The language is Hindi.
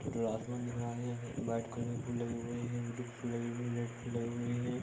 खुला आसमान दिख रहा है यहाँ वाइट कलर के फूल लगे हुए हैं ब्लू फूल लगे हुए है और रेड फूल लगे हुए हैं ।